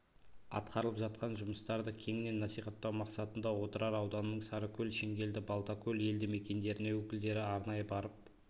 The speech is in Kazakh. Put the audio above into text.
атқарылып жатқан жұмыстарды кеңінен насихаттау мақсатында отырар ауданының сарыкөл шеңгелді балтакөл елді мекендеріне өкілдері арнайы барып